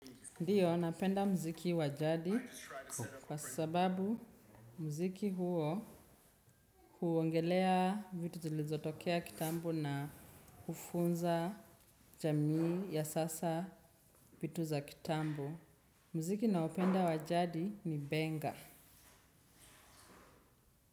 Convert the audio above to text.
Ndiyo, napenda mziki wa jadi kwa sababu mziki huo huongelea vitu zilizotokea kitambo na hufunza jamii ya sasa vitu za kitambo. Mziki naopenda wa jadi ni benga.